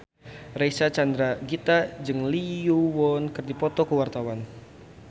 Reysa Chandragitta jeung Lee Yo Won keur dipoto ku wartawan